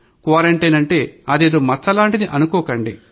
quarantine అంటే అదేదో మచ్చలాంటిది అనుకోకండి